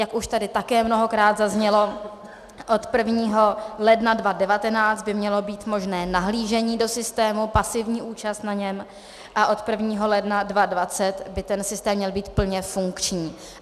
Jak už tady také mnohokrát zaznělo, od 1. ledna 2019 by mělo být možné nahlížení do systému, pasivní účast na něm a od 1. ledna 2020 by ten systém měl být plně funkční.